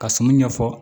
Ka sɔmi ɲɛ fɔ